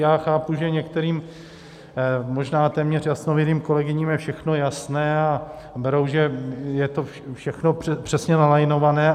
Já chápu, že některým možná téměř jasnovidným kolegyním je všechno jasné a berou, že je to všechno přesně nalajnované.